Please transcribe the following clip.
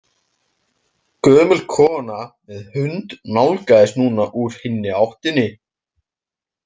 Gömul kona með hund nálgaðist núna úr hinni áttinni.